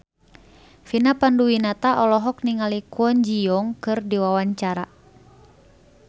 Vina Panduwinata olohok ningali Kwon Ji Yong keur diwawancara